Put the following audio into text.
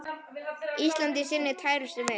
Ísland í sinni tærustu mynd.